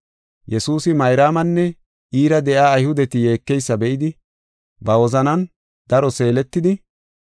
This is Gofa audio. Yesuusi Mayraamanne iira de7iya, Ayhudeti yeekeysa be7idi, ba wozanan daro seeletidi,